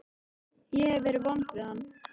Ég hef verið vond við hann.